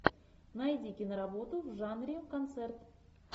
найди киноработу в жанре концерт